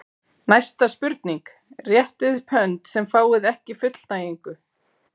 Næsta spurning: Réttið upp hönd sem fáið ekki fullnægingu.